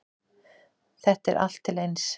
Þetta er allt eins.